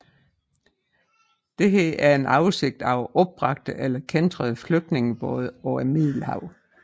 Dette er en oversigt over opbragte eller kæntrede flygtningebåde på Middelhavet